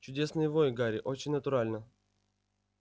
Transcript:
чудесный вой гарри очень натурально